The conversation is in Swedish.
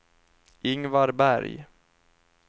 Ingvar Berg